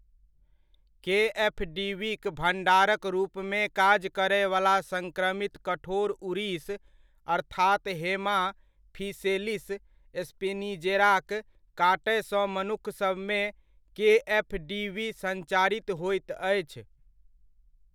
केएफडीवीक भण्डारक रूपमे काज करयवला सङ्क्रमित कठोर उड़ीस अर्थात हेमाफिसेलिस स्पिनिजेराक काटयसँ मनुक्खसभमे केएफडीवी सञ्चारित होइत अछि।